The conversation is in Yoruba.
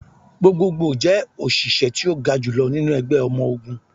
Gbogbogbo jẹ oṣiṣẹ ti o ga julọ ninu ẹgbẹ ọmọ ogun.